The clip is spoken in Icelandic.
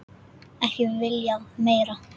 Ekki viljað meira.